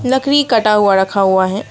लकड़ी काटा हुआ रखा हुआ है।